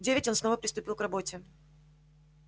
в девять он снова приступил к работе